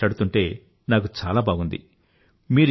మీతో మాట్లాడితే నాకు చాలా బాగుంది